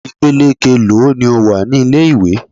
Ìpele keèló ni ó wà ní ilé ìwé?